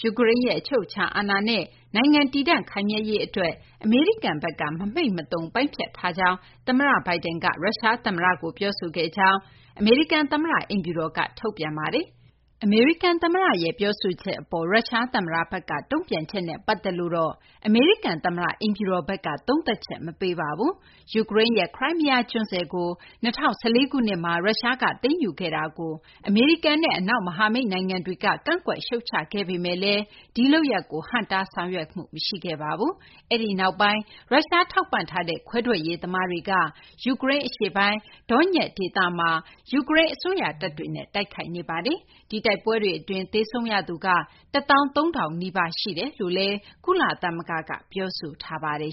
ယူကရိန်းနိုင်ငံရဲ့ အချုပ်အချာအာဏာ နဲ့ နိုင်ငံ တည်တံ့ ခိုင်မြဲရေး အတွက် အမေရိကန်ဘက်က မမှိတ်မသုန် ပိုင်းဖြတ်ထားတယ်လို့လည်း သမ္မတ Biden က ရုရှား သမ္မတကို ပြောဆိုခဲ့ကြောင်း အမေရိကန် သမ္မတ အိမ်ဖြူတော်က ထုတ်ပြန်ပါတယ်။ ဒါပေမယ့်လည်း အမေရိကန် သမ္မတရဲ့ ပြောဆိုချက် အပေါ် ရုရှား သမ္မတဘက်က တုံ့ပြန်ချက်ကိုတော့ အမေရိကန် သမ္မတ အိမ်ဖြူတော်က သုံးသပ်ချက် မပေးပါဘူး။ ယူကရိန်းရဲ့ Crimea ကျွန်းဆွယ်ကို ၂၀၁၄ ခုနှစ်မှာ ရုရှားက သိမ်းယူခဲ့တာကို အမေရိကန်နဲ့ အနောက် မဟာမိတ် နိုင်ငံတွေက ကန့်ကွက် ရှုတ်ချပေမယ့်လည်း ဒီလုပ်ရပ်ကို ဟန့်တား ဆောင်ရွက်မှု မရှိခဲ့ပါဘူး။ အဲဒီနောက်ပိုင်းမှာ ရုရှား ထောက်ပံ့ထားတဲ့ ခွဲထွက်ရေးသမားတွေက ယူကရိန်း အရှေ့ပိုင်း Donetsk ဒေသတွင်းမှာ ယူကရိန်း အစိုးရတပ်တွေနဲ့ တိုက်ခိုက်နေတာပါ။ ယူကရိန်း တိုက်ပွဲတွေ အတွင်း သေဆုံးရသူက ၁၃,၀၀၀ နီးပါး ရှိကြောင်း ကုလသမဂ္ဂက ပြောဆိုထားပါတယ်